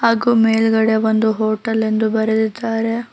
ಹಾಗು ಮೇಲ್ಗಡೆ ಒಂದು ಹೋಟೆಲ್ ಎಂದು ಬರೆದಿದ್ದಾರೆ.